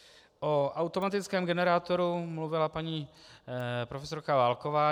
O automatickém generátoru mluvila paní profesorka Válková.